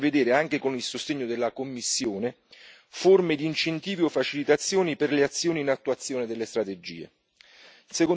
Chiediamo inoltre di prevedere, anche con il sostegno della Commissione, forme di incentivi o facilitazioni per le azioni in attuazione delle strategie.